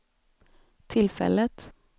tillfället